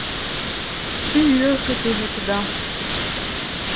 и ехать уже туда